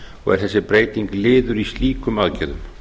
og er þessi breyting liður í slíkum aðgerðum